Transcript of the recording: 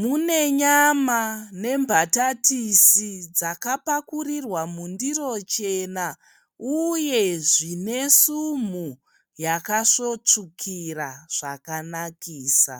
Mune nyama nembatatisi dzakapakurirwa mundiro chena uye zvine sumhu zvakasvotsvukira zvakanakisa.